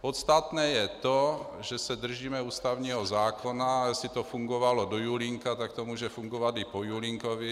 Podstatné je to, že se držíme ústavního zákona, a jestli to fungovalo do Julínka, tak to může fungovat i po Julínkovi.